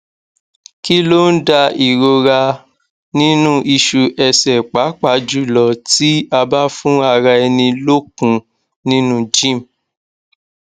kilon da irora ninu isu ese papa julo ti aba fun ara eni lokun ninu gym